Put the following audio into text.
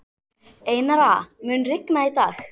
Einara, mun rigna í dag?